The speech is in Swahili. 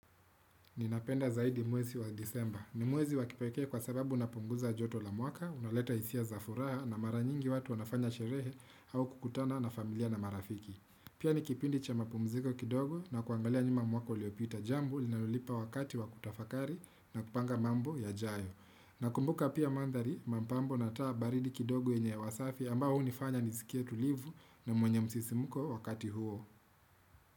Ninapenda zaidi mwezi wa disemba. Ni mwezi wakipekee kwa sababu unapunguza joto la mwaka, unaleta hisia za furaha na mara nyingi watu wanafanya sherehe au kukutana na familia na marafiki. Pia ni kipindi cha mapumziko kidogo na kuangalia nyuma mwaka uliopita jambo linalonipa wakati wakutafakari na kupanga mambo ya jayo. Nakumbuka pia mandhari, mapambo na taa baridi kidogo yenye hewa safi ambayo hunifanya nisikie tulivu na mwenye msisimuko wakati huo.